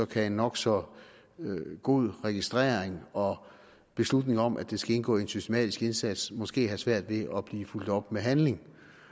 kan en nok så god registrering og beslutning om at det skal indgå i en systematisk indsats måske have svært ved at blive fulgt op af handling